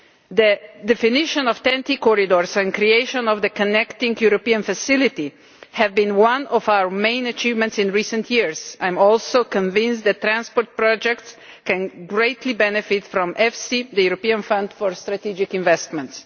The definition of TEN T corridors and creation of the Connecting Europe Facility have been one of our main achievements in recent years. I am also convinced that transport projects can greatly benefit from EFSI, the European Fund for Strategic Investments.